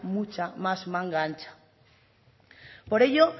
mucha más manga ancha por ello